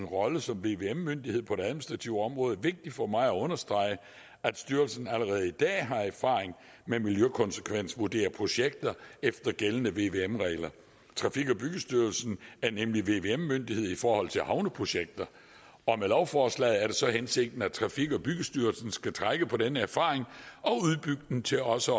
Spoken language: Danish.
rolle som vvm myndighed på det administrative område vigtigt for mig at understrege at styrelsen allerede i dag har erfaring med at miljøkonsekvensvurdere projekter efter gældende vvm regler trafik og byggestyrelsen er nemlig vvm myndighed i forhold til havneprojekter og med lovforslaget er det så hensigten at trafik og byggestyrelsen skal trække på denne erfaring og udbygge den til også